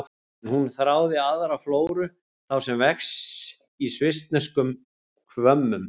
En hún þráði aðra flóru, þá sem vex í svissneskum hvömmum.